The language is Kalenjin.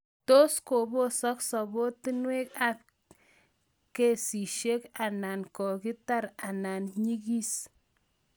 tos kopposak sobeetnguk ak kechisiek anwan kotiterter anan inyigis